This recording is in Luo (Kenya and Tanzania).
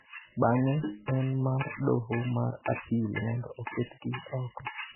bang�e en mar Doho mar Apil mondo oketgi oko.